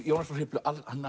Jónas frá Hriflu